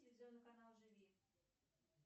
телевизионный канал живи